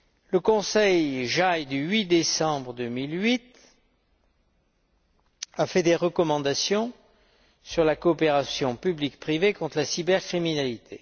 Le conseil JAI du 8 décembre 2008 a fait des recommandations sur la coopération public privé contre la cybercriminalité.